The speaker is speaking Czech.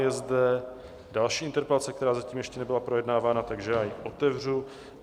Je tady další interpelace, která zatím ještě nebyla projednávána, takže já ji otevřu.